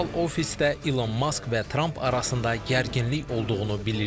Oval ofisdə İlon Mask və Tramp arasında gərginlik olduğunu bilirdik.